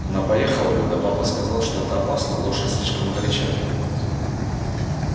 она поехала бы да папа сказал что это опасно лошадь слишком горяча